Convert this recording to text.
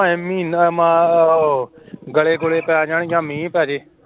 ਮਹੀਨਾ ਆਹ ਗੜੇ ਗੂੜੇ ਪੈ ਜਾਣ ਜਾ ਮੀਂਹ ਪੈ ਜੇ